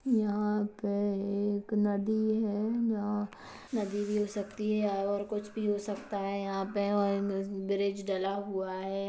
यहाँ पे एक नदी है और नदी हिल सकती हैऔर कुछ भी हो सकता है यहाँ पे और इम बी ब्रिज डला हुआ है।